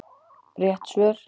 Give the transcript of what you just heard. Rétt svör